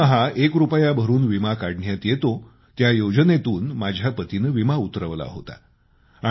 दरमहा एक रूपया भरून विमा काढण्यात येतो त्या योजनेतून माझ्या पतीने विमा उतरवला होता